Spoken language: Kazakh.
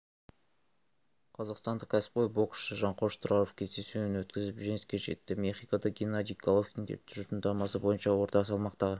қазақстандық кәсіпқой боксшы жанқош тұраров кездесуін өткізііп жеңіске жетті мехикода геннадий головкинге тұжырымдамасы бойынша орта салмақтағы